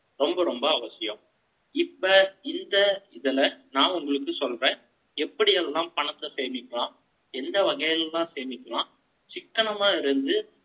ரொம்ப, ரொம்ப அவசியம். இப்ப, இந்த இதுல, நான் உங்களுக்கு சொல்றேன். எப்படி எல்லாம் பணத்தை சேமிக்கலாம்? எந்த வகையில எல்லாம் சேமிக்கலாம்? சிக்கனமா இருந்து,